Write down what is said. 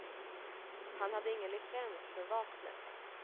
Han hade ingen licens för vapnet.